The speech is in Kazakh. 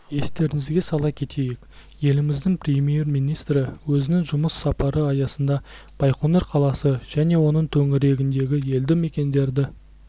естеріңізге сала кетейік еліміздің премьер-министрі өзінің жұмыс сапары аясында байқоңыр қаласы және оның төңірегіндегі елді мекендерді